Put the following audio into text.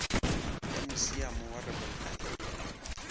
ya musiamo wa robben island